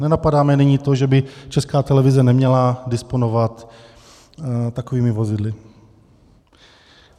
Nenapadáme nyní to, že by Česká televize neměla disponovat takovými vozidly.